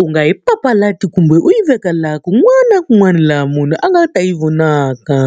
U nga yi papalati kumbe u yi veka laha kun'wana na kun'wana laha munhu a nga ta yi vonaka.